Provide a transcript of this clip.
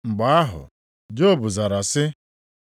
Mgbe ahụ, Job zara sị: